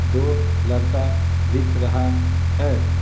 दो लड़का दिख रहा है।